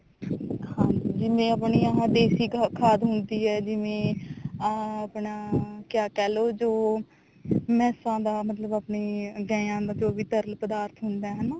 ਹਾਂਜੀ ਜਿਵੇਂ ਆਪਣੀ ਆਹ ਦੇਸੀ ਖਾਦ ਹੁੰਦੀ ਆ ਜਿਵੇਂ ਅਮ ਆਪਣਾ ਕਿਆ ਕਹਿਲੋ ਜੋ ਮੈਸਾਂ ਦਾ ਮਤਲਬ ਆਪਣੇ ਗਾਵਾਂ ਦਾ ਜੋ ਵੀ ਤਰਲ ਪਦਾਰਥ ਹੁੰਦਾ ਹਨਾ